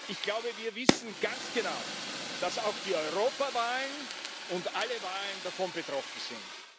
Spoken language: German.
Ich glaube, wir wissen ganz genau, dass auch die Europawahlen und alle Wahlen davon betroffen sind.